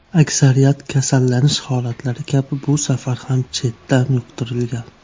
Aksariyat kasallanish holatlari kabi bu safar ham chetdan yuqtirilgan.